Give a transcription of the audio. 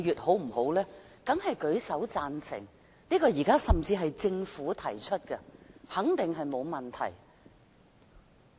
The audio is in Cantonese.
大家當然舉手贊成，這是由政府提出的，肯定沒有問題。